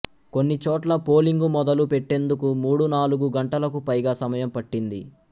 కొన్నిచోట్ల పోలింగు మొదలు పెట్టేందుకు మూడు నాలుగు గంటలకు పైగా సమయం పట్టింది